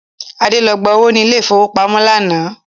Adé lọ gba owó ni ilẹ̀ ìfowópamọ́ lánàá